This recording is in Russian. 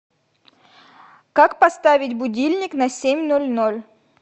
как поставить будильник на семь ноль ноль